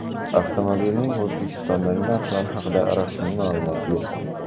Avtomobilning O‘zbekistondagi narxlari haqida rasmiy ma’lumot yo‘q.